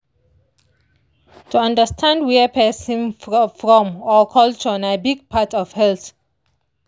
to understand where person from or culture na big part of health.